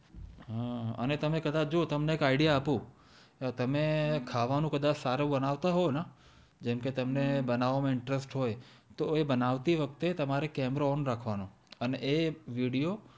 હમ અને કદાચ જો તમે આયડીયા આપું તમે ખાવાનું કદાચ સારું બનાવતા હોય તો ને જેમ કે તમને બનાવ માં ઈન્ટ્રુસ્ટ તો એ બનાતી વખતે કેમેરો ઓન રાખવાનો હા અને એ વિડિઓ